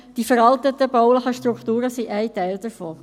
Die veralteten baulichen Strukturen sind ein Teil davon.